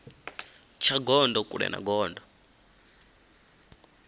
tsha gondo kule na gondo